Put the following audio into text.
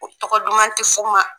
U tɔgɔ duman tɛ f'u ma.